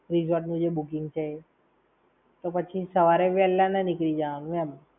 resort નું જે booking છે એ. તો પછી સવારે વેલા ના નીકળી જવાનું એમ.